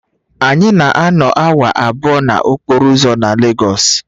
Anyị na-anọ awa abụọ n'okporo ụzọ na Legosu